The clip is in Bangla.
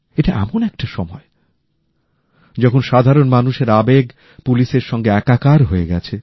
এটা এমন একটা সময় যখন সাধারন মানুষের আবেগ পুলিশের সঙ্গে একাকার হয়ে গেছে